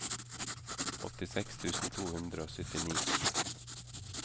åttiseks tusen to hundre og syttini